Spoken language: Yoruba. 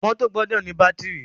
Mọ́tọ̀ gbọdọ ní bátìrì.